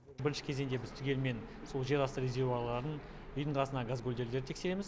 бірінші кезеңде біз түгелімен сол жерасты резервуарларын үйдің қасындағы газгольдерлерді тексереміз